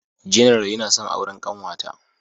General yana son auren kanwata.